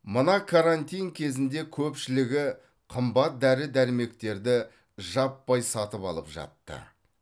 мына карантин кезінде көпшілігі қымбат дәрі дәрмектерді жаппай сатып алып жатты